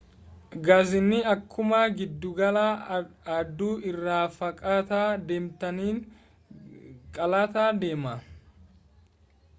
gaaziin akkuma giddugala aduu irraa fagaataa deemtaniin qal'ataa deema